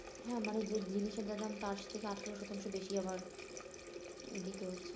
হ্যাঁ মানে যে জিনিসের যা দাম তার থেকে আঠেরো শতাংশ বেশি আবার দিতে হচ্ছে